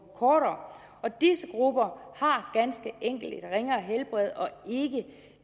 kortere disse grupper har ganske enkelt et ringere helbred og